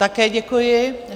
Také děkuji.